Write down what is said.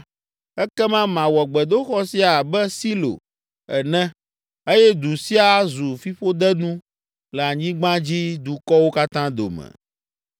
ekema mawɔ gbedoxɔ sia abe Silo ene eye du sia azu fiƒodenu le anyigbadzidukɔwo katã dome.’ ”